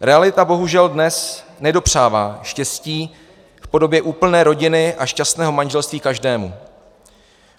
Realita bohužel dnes nedopřává štěstí v podobě úplné rodiny a šťastného manželství každému.